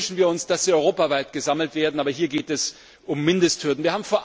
Natürlich wünschen wir uns, dass sie europaweit gesammelt werden, aber hier geht es um Mindesthürden.